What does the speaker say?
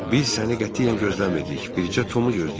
Biz səni qətiyyən gözləmirdik, bircə Tomu gözləyirdik.